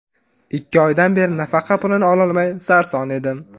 Ikki oydan beri nafaqa pulini ololmay sarson edim.